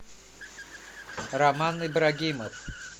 роман ибрагимов